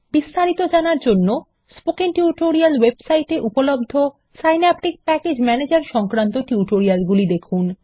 বিস্তারিত জানার জন্য স্পোকেন টিউটোরিয়াল ওয়েবসাইটে উপলব্ধ সিন্যাপটিক প্যাকেজ ম্যানেজার সংক্রান্ত টিউটোরিয়ালগুলি দেখুন